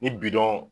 Ni bidɔn